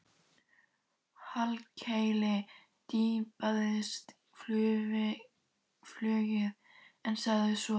Hallkeli fipaðist flugið en sagði svo